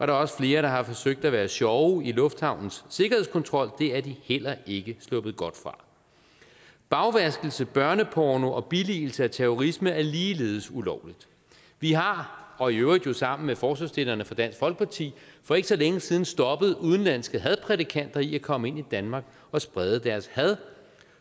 er også flere der har forsøgt at være sjove i lufthavnens sikkerhedskontrol og det er de heller ikke sluppet godt fra bagvaskelse børneporno og billigelse af terrorisme er ligeledes ulovligt vi har og i øvrigt jo sammen med forslagsstillerne fra dansk folkeparti for ikke så længe siden stoppet udenlandske hadprædikanter i at komme ind i danmark og sprede deres had